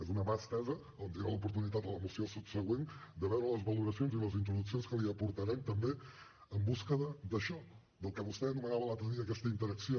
és una mà estesa a on tindrà l’oportunitat en la moció subsegüent de veure les valoracions i les introduccions que li aportarem també en busca d’això del que vostè anomenava l’altre dia aquesta interacció